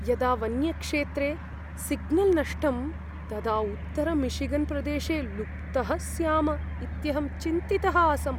यदा वन्यक्षेत्रे सिग्नल् नष्टं तदा उत्तरमिशिगन्प्रदेशे लुप्तः स्याम इत्यहं चिन्तितः आसम्।